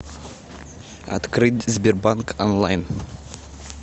открыть сбербанк онлайн